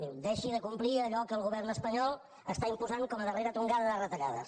diu deixi de complir allò que el govern espanyol està imposant com a darrera tongada de retallades